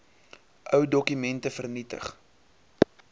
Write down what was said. ou dokumente vernietig